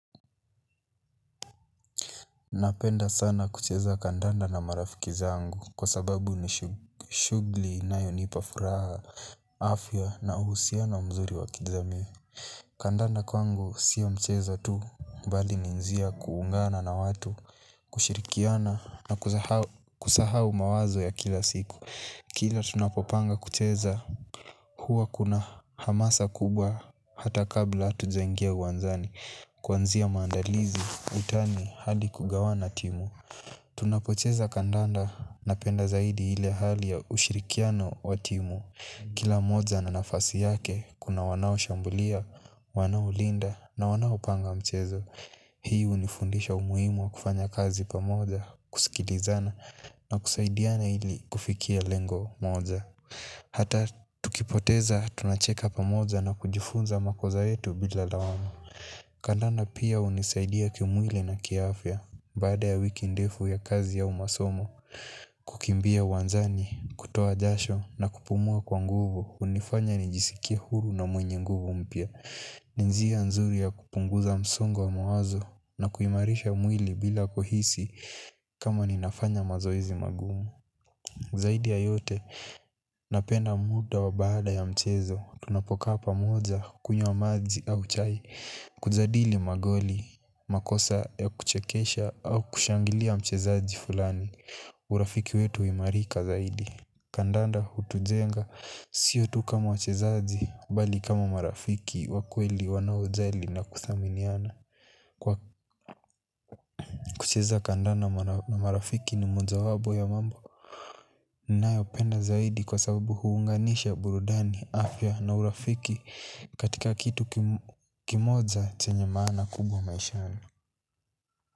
Napenda sana kucheza kandanda na marafiki zangu. Kwa sababu ni shughuli inayonipa furaha afya na uhusiano wa mzuri wa kijamii. Kandanda kwangu sio mchezo tu bali ni njia ya kuungana na watu. Kushirikiana na kusahau mawazo ya kila siku kila tunapopanga kucheza huwa kuna hamasa kubwa. Hata kabla hatujaingia uwanjani kuanzia maandalizi utani hadi kugawana timu tunapocheza kandanda napenda zaidi ile hali ya ushirikiano wa timu. Kila moja ana nafasi yake kuna wanao shambulia, wanaolinda na wanaopanga mchezo. Hii hunifundisha umuhimu wa kufanya kazi pamoja, kusikilizana na kusaidiana ili kufikia lengo moja. Hata tukipoteza tunacheka pamoja na kujifunza makosa yetu bila lawama. Kandanda pia hunisaidia kiumwili na kiafya. Baada ya wiki ndefu ya kazi au masomo kukimbia uwanjani, kutoa jasho na kupumua kwa nguvu hunifanya nijisikie huru na mwenye nguvu mpya. Ni njia nzuri ya kupunguza msongo wa mawazo. Na kuimarisha mwili bila kuhisi kama ninafanya mazoezi magumu zaidi ya yote, napenda muda wa baada ya mchezo. Tunapokaa pamoja, kunywa maji au chai kujadili magoli, makosa ya kuchekesha au kushangilia mchezaji fulani urafiki wetu huimarika zaidi kandanda hutujenga sio tu kama wachezaji bali kama marafiki wa kweli wanaojali na kuthaminiana kwa kucheza kandanda na marafiki ni mojawapo ya mambo ninayopenda zaidi kwa sababu huunganisha burudani afya na urafiki katika kitu kimoja chanye maana kubwa maishani.